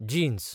jeans